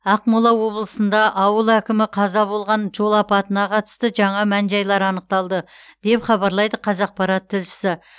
ақмола облысында ауыл әкімі қаза болған жол апатына қатысты жаңа мән жайлар анықталды деп хабарлайды қазақпарат тілшісі